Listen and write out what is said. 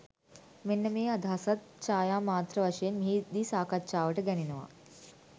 මෙන්න මේ අදහසත් ඡායා මාත්‍ර වශයෙන් මෙහි දී සාකච්ඡාවට ගැනෙනවා.